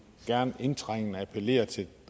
gerne indtrængende appellere til